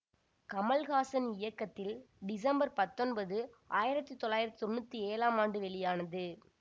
கமல்ஹாசன் இயக்கத்தில் டிசம்பர் பத்தொன்பது ஆயிரத்தி தொள்ளாயிரத்தி தொன்னூற்தி ஏழாம் ஆண்டு வெளியானது